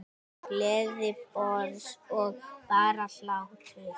Gleði, bros og bara hlátur.